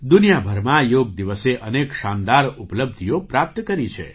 દુનિયાભરમાં યોગ દિવસે અનેક શાનદાર ઉપલબ્ધિઓ પ્રાપ્ત કરી છે